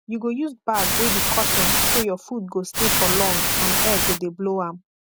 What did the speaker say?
you go use bag wey be cotton so your food go stay for long and air go de blow am